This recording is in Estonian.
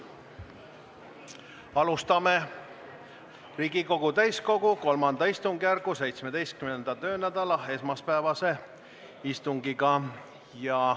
Alustame Riigikogu täiskogu III istungjärgu 17. töönädala esmaspäevast istungit.